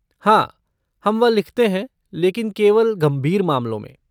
हाँ, हम वह लिखते हैं, लेकिन केवल गंभीर मामलों में।